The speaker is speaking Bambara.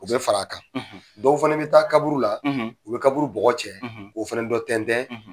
U bɛ fara a kan dɔw fana bɛ taa kaburu la u bɛ kaburu bɔgɔ cɛ k'o fana dɔ tƐntɛn